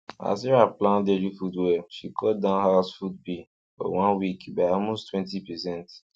as sarah plan daily food well she cut down house food bill for one week by almosttwentypercent